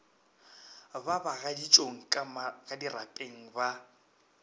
ba bagaditšong ka dirapeng ba